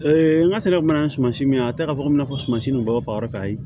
an ka sira mana sumasi min a tɛ k'a fɔ ko n'a fɔ sumansi ninnu baga bɛ ayi